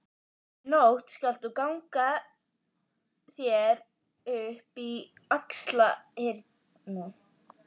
Í nótt skalt þú ganga þér upp í Axlarhyrnu.